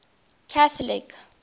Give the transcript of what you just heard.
catholic